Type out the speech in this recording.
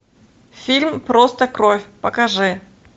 фильм просто кровь покажи